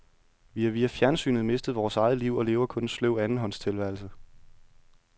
Vi har via fjernsynet mistet vores eget liv og lever kun en sløv andenhånds tilværelse.